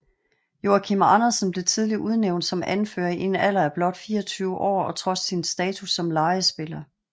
Joachim Andersen blev tidligt udnævnt som anfører i en alder af blot 24 år og trods sin status som lejespiller